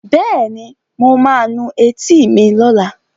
Bẹ́ẹ̀ni, mo ma nu etí mi lọ́la